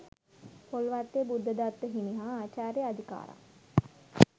පොල්වත්තේ බුද්ධදත්ත හිමි හා ආචාර්ය අදිකාරම්